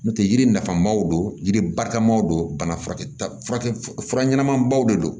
N'o tɛ yiri nafa maw don yiri barika maw don bana furakɛtigɛ fura ɲɛnamabaw de don